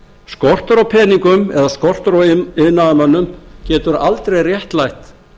skortur á peningum eða skortur á iðnaðarmönnum getur aldrei réttlætt